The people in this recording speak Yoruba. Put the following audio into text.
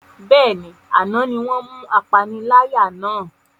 Bẹ́ẹ̀ni, àná ni wọn mú apaniláyà náà